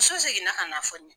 so zeginna k'a n'a fɔ ne ye.